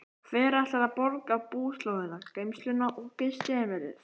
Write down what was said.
Hver ætlar að borga búslóðina, geymsluna og gistiheimilið?